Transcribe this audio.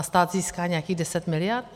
A stát získá nějakých 10 mld.